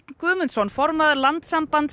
Guðmundsson formaður Landssambands